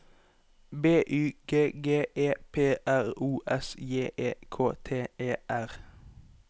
B Y G G E P R O S J E K T E R